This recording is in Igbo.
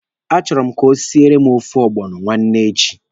A chọrọ m ka o siere m ofe ọgbọnọ nwanne echi.